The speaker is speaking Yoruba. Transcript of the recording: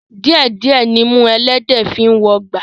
Díẹ̀ díẹ̀ nimú ẹlẹ́dẹ̀ẹ́ fi ń wọgbà